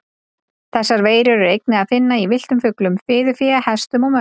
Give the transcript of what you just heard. Þessar veirur er einnig að finna í villtum fuglum, fiðurfé, hestum og mönnum.